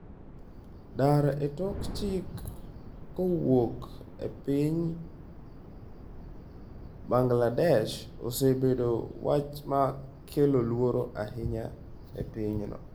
Dar e tok chik kowuok e piny Bangladesh osebedo wach ma kelo luoro ahinya e pinyno.